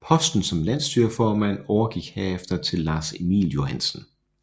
Posten som landsstyreformand overgik herefter til Lars Emil Johansen